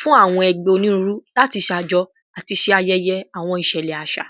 fun awọn ẹgbẹ oniruuru lati ṣajọ ati ṣe ayẹyẹ awọn iṣẹlẹ aṣa